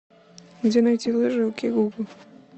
где найти лыжи окей гугл